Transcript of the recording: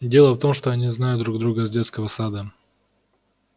дело в том что они знают друг друга с детского сада